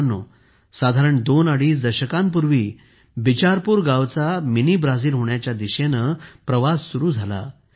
मित्रांनो साधारण दोन अडीच दशकांपूर्वी बिचारपूर गावाचा मिनी ब्राझील होण्याच्या दिशेने प्रवास सुरू झाला